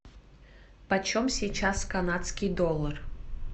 почем сейчас канадский доллар